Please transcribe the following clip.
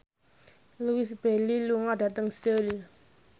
Louise Brealey lunga dhateng Seoul